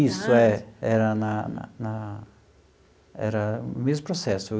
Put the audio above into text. Isso, é. Era na na na era o mesmo processo.